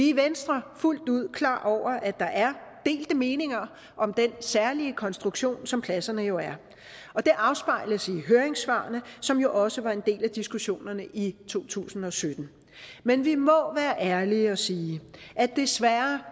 i venstre fuldt ud klar over at der er delte meninger om den særlige konstruktion som pladserne jo er og det afspejles i høringssvarene som jo også var en del af diskussionerne i to tusind og sytten men vi må være ærlige og sige at vi desværre